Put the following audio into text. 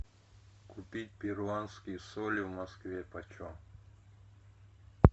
купить перуанские соли в москве почем